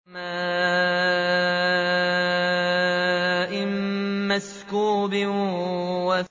وَمَاءٍ مَّسْكُوبٍ